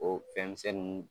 O fɛn misɛnnin